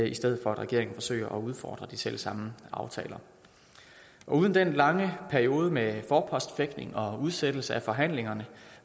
i stedet for at regeringen forsøger at udfordre de selv samme aftaler uden den lange periode med forpostfægtning og udsættelse af forhandlingerne